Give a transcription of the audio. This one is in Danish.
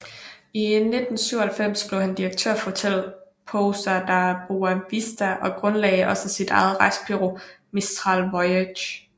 I 1997 blev han direktør for hotellet Pousada Boa Vista og grundlagde også sit eget rejsebureau Mistral Voyages